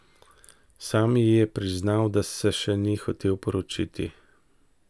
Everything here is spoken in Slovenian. Sam ji je priznal, da se še ni hotel poročiti.